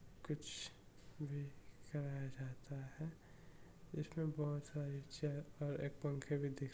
कुछ भी कराया जाता है इसमे बहुत सारे चेयर और एक पंखे भी दिख--